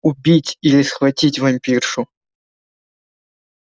убить или схватить вампиршу